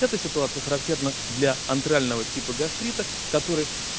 эта ситуация характерна для антрального типа гастрита который